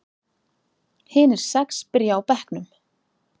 Hinir sex byrja á bekknum.